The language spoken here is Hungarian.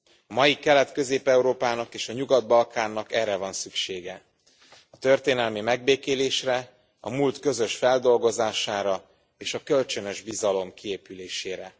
A mai Kelet Közép Európának és a Nyugat Balkánnak erre van szüksége a történelmi megbékélésre, a múlt közös feldolgozására és a kölcsönös bizalom kiépülésére.